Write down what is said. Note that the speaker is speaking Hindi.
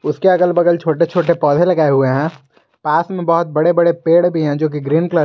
उसके अगल बगल छोटे छोटे पौधे लगाए हुए हैं पास में बहुत बड़े बड़े पेड़ भी हैं जोकि ग्रीन कलर --